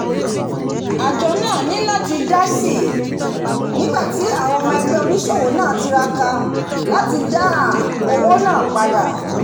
ájo náà ní láti dásì nígbàtí àwon ọmọ ẹgbẹ́ onísòwò náà tiraka láti dá owó náà padà